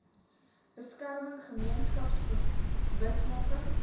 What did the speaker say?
beskerming gemeenskaps bewusmaking